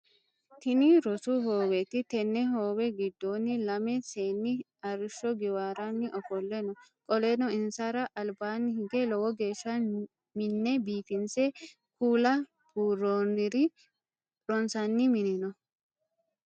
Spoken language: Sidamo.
Tinni rosu hooweet tenne hoowe gidoonni lame seenni arisho giwaaranni ofole no. Qoleno insara albaanni hige lowo geesha mine biifinse kuula buuronni ronsanni minni no.